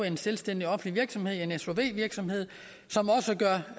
en selvstændig offentlig virksomhed en sov virksomhed som også gør